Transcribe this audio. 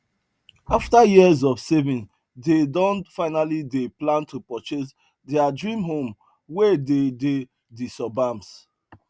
after years of saving dey don finally dey plan to purchase their dream home wey dey dey de suburbs